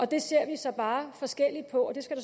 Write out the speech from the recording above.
det ser vi så bare forskelligt på og det skal